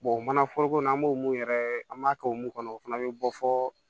o mana foroko n'an b'o mun yɛrɛ an b'a kɛ o mun kɔnɔ o fana be bɔ fɔ